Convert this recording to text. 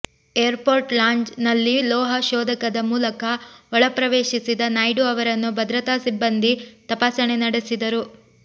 air port lounge ನಲ್ಲಿ ಲೋಹ ಶೋಧಕದ ಮೂಲಕ ಒಳ ಪ್ರವೇಶಿಸಿದ ನಾಯ್ಡು ಅವರನ್ನು ಭದ್ರತಾ ಸಿಬ್ಬಂದಿ ತಪಾಸಣೆ ನಡೆಸಿದರು